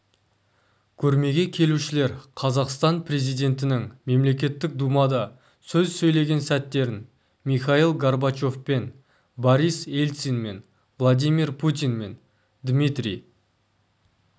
көрмеге келушілер қазақстан президентінің мемлекеттік думада сөз сөйлеген сәттерін михаил горбачевпен борис ельцинмен владимир путинмен дмитрий